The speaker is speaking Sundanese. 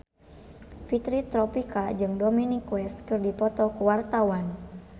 Fitri Tropika jeung Dominic West keur dipoto ku wartawan